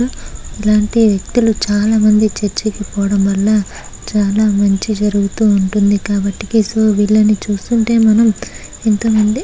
ఇలాంటి వ్యక్తులు చాలా మంది చర్చికి పోవడం వల్ల చాలా మంచి జరుగుతూ ఉంటుందికాబట్టి కేశవ వీళ్లను చూస్తుంటే మనం ఎంతోమంది--